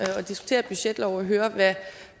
at diskutere budgetlov og høre hvad